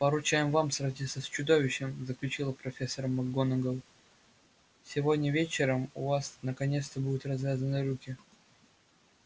поручаем вам сразиться с чудовищем заключила профессор макгонагалл сегодня вечером у вас наконец-то будут развязаны руки